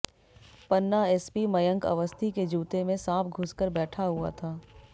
पन्ना SP Mayank Awasthi के जूते में सांप घुस कर बैठा हुआ था